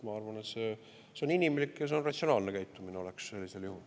Ma arvan, et see oleks sellisel juhul inimlik ja ratsionaalne käitumine.